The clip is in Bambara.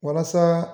Walasa